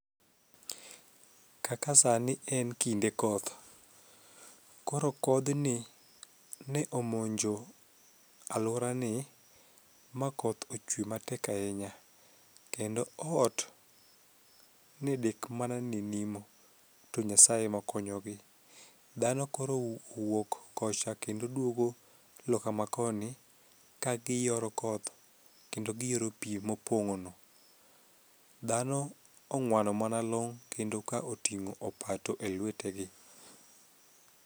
Kaka sani en kinde koth, koro kodhni ne omonjo alworani ma koth ochwe matek ahinya kendo ot ne dek mana ni nimo to Nyasaye emokonyogi. Dhano koro owuok kocha kendo duogo loka makoni ka giyoro koth kendo giyoro pi mopong'ono. Dhano ong'wano mana long' kendo ka oting'o opato e lwetegi.